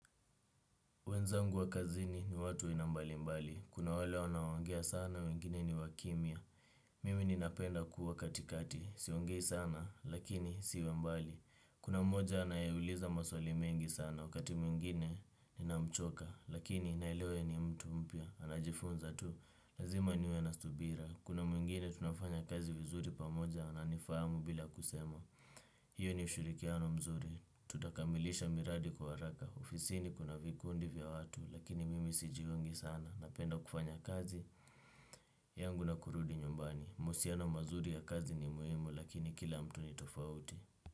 Wenzangu wa kazini ni watu aina mbali mbali. Kuna wale wanaoongea sana, wengine ni wakimia. Mimi ninapenda kuwa katikati. Siongei sana, lakini siwe mbali. Kuna mmoja anayeuliza maswali mengi sana, wakati mwingine ninamchoka. Lakini nailewa ni mtu mpya, anajifunza tu. Lazima niwe nastubira. Kuna mwingine tunafanya kazi vizuri pamoja, ananifamu bila kusema. Hiyo ni ushurikiano mzuri, tutakamilisha miradi kwa araka, ofisini kuna vikundi vya watu, lakini mimi sijiungi sana, napenda kufanya kazi, yangu na kurudi nyumbani, musiano mazuri ya kazi ni muhimu lakini kila mtu ni tofauti.